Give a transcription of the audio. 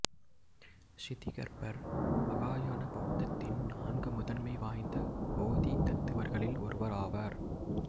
ஷிதிகர்பர் மகாயான பௌத்தத்தின் நான்கு முதன்மை வாய்ந்த போதிசத்துவர்களில் ஒருவர் ஆவர்